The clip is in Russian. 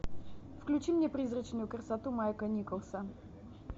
включи мне призрачную красоту майка николса